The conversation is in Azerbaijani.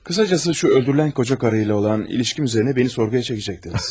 Qısacası, şu öldürülən qoca karı ilə olan ilişkim üzərinə məni sorğuya çəkəcəkdiniz.